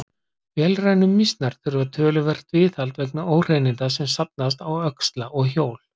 Vélrænu mýsnar þurfa töluvert viðhald vegna óhreininda sem safnast á öxla og hjól.